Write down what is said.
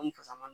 Ni fasa ma